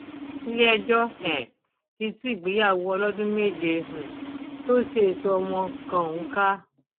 iléẹjọ um ti tú ìgbéyàwó ọlọdún méje um tó sèso ọmọ kan ọhún ká